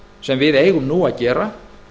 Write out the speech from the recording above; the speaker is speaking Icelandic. sem við eigum að gera